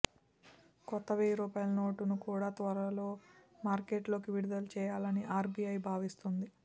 కొత్త వెయ్యి రూపాయల నోటు ను కూడ త్వరలో మార్కెట్ లోకి విడుదల చేయాలని ఆర్ బి ఐ భావిస్తోంది